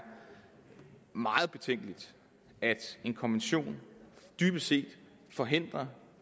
meget betænkeligt at en konvention dybest set forhindrer